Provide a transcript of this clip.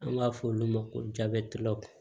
An b'a fɔ olu ma ko